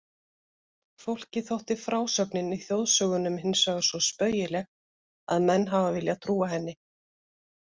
Fólki þótti frásögnin í þjóðsögunum hinsvegar svo spaugileg að menn hafa viljað trúa henni.